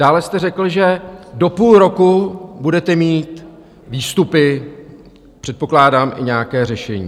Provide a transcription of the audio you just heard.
Dále jste řekl, že do půl roku budete mít výstupy, předpokládám, i nějaké řešení.